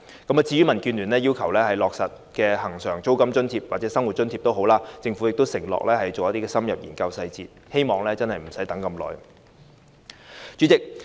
至於民建聯要求落實的恆常租金津貼或生活津貼，政府亦已承諾會深入研究相關細節，我希望真的不用等太久。